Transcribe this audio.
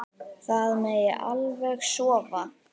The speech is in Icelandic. Það megi alveg sofa.